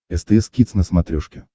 стс кидс на смотрешке